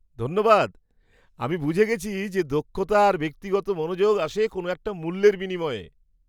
ধন্যবাদ! আমি বুঝে গেছি যে দক্ষতা আর ব্যক্তিগত মনোযোগ আসে কোনো একটা মূল্যের বিনিময়।